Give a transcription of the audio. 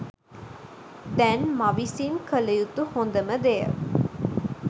දැන් මවිසින් කළයුතු හොඳම දෙය